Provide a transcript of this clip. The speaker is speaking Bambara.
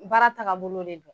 Baara tagabolo de don